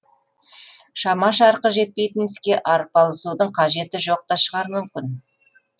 шама шарқы жетпейтін іске арпалысудың қажеті жоқ та шығар мүмкін